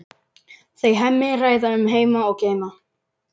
Þau Hemmi ræða um heima og geima.